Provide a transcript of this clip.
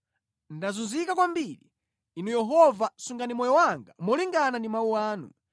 Ndazunzika kwambiri; Inu Yehova, sungani moyo wanga molingana ndi mawu anu.